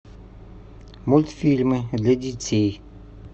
мультфильмы для детей